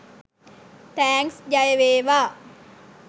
thanks ජයවේවා